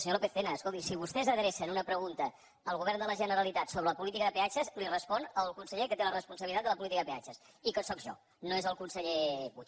senyor lópez tena escolti si vostès adrecen una pregunta al govern de la generalitat sobre la política de peatges li respon el conseller que té la responsabilitat sobre la política de peatges i que sóc jo no és el conseller puig